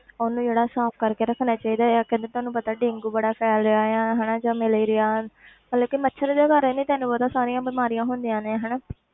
ਉਹਨੂੰ ਜਿਹੜਾ ਸਾਫ਼ ਕਰਕੇ ਰੱਖਣਾ ਚਾਹੀਦਾ ਆ ਕਿ ਅੱਜ ਤੁਹਾਨੂੰ ਪਤਾ ਡੇਂਗੂ ਬੜਾ ਫ਼ੈਲ ਰਿਹਾ ਆ ਹਨਾ ਜਾਂ ਮਲੇਰੀਆ ਮਤਲਬ ਕਿ ਮੱਛਰ ਦੇ ਕਾਰਨ ਹੀ ਤੈਨੂੰ ਪਤਾ ਸਾਰੀਆਂ ਬਿਮਾਰੀਆਂ ਹੁੰਦੀਆਂ ਨੇ